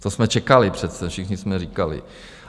To jsme čekali, přece všichni jsme říkali.